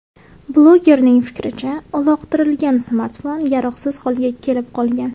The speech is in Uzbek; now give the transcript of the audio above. Blogerning fikricha, uloqtirilgan smartfon yaroqsiz holga kelib qolgan.